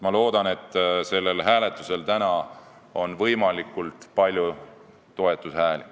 Ma loodan, et sellel hääletusel täna antakse võimalikult palju toetushääli.